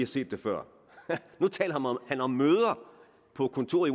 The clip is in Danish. set det før nu taler han om møder på kontoret